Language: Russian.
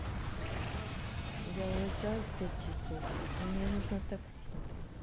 я уезжаю в пять часов мне нужно такси